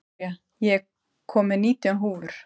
Gloría, ég kom með nítján húfur!